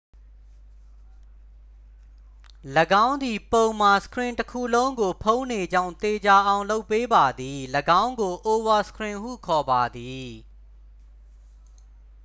၎င်းသည် ပုံမှာ စခရင်တစ်ခုလုံးကိုဖုံးနေကြောင်း သေချာအောင်လုပ်ပေးပါသည် ၎င်းကို အိုဗာစခရင်ဟုခေါ်ပါသည်